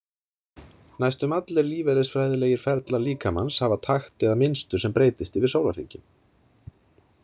Næstum allir lífeðlisfræðilegir ferlar líkamans hafa takt eða mynstur sem breytist yfir sólarhringinn.